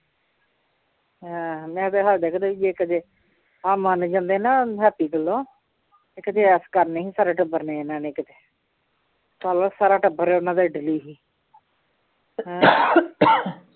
ਹਾਂ ਮੈ ਤੇ ਸਾਡੇ ਘਰੇ ਵੀ ਕਦੇ ਆਹ ਮੰਨ ਜਾਂਦੇ ਨਾ ਹੈਪੀ ਵੱਲੋਂ ਇੱਕ ਤੇ ਐਸ਼ ਕਰਨੀ ਸੀ, ਸਾਰੇ ਟੱਬਰ ਨੇ ਇਹਨਾਂ ਨੇ ਕਿਤੇ ਚੱਲ ਸਾਰਾ ਟੱਬਰ ਉਹਨਾਂ ਦਾ ਇਟਲੀ